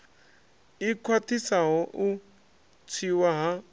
i khwaṱhisaho u tswiwa ha